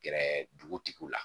Gɛrɛ dugu tigiw la